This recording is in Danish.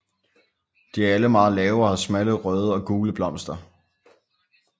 De er alle meget lave og har smalle røde og gule blomster